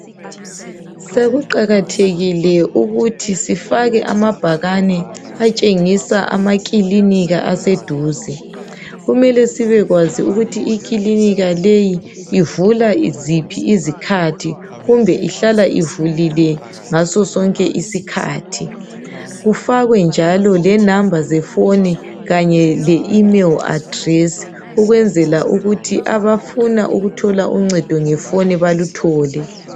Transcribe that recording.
Sokuqakathekile ukuthi sifake amabhakane atshengisa amaklinika aseduze kumele sibekwazi ukuthi iklinika leyi ivula ziphi izikhathi kumbe ihlala ivulile ngaso sonke isikhathi kufakwe njalo lenamba zefoni kanye le imeli adilesi ukwenzela ukuthi ama funa uncedo ngefoni baluthole.